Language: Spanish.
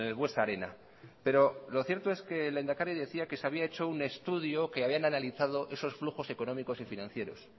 buesa arena pero lo cierto es que el lehendakari decía que se había hecho un estudio que habían analizado esos flujos económicos y financieros